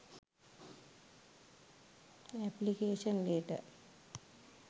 application letter